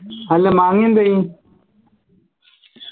അല്ല മാങ്ങ എന്തായി